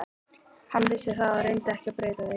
Hann vissi það og reyndi ekki að breyta því.